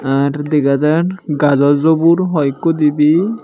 are dagajar gajow jubur hoekko dibay.